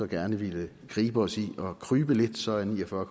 gerne vil gribe os i at krybe lidt så er ni og fyrre